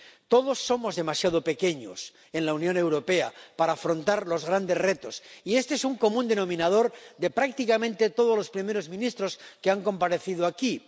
Todos somos demasiado pequeños en la Unión Europea para afrontar los grandes retos y este es un común denominador de prácticamente todos los primeros ministros que han comparecido aquí.